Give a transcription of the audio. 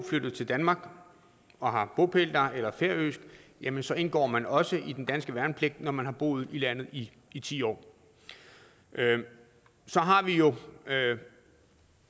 flyttet til danmark og har bopæl her jamen så indgår man også i den danske værnepligt når man har boet her i landet i i ti år så har vi